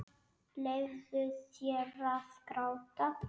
Leyfðu þér að gráta.